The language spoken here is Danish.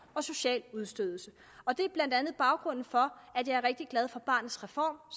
og social udstødelse og det er blandt andet baggrunden for at jeg er rigtig glad for barnets reform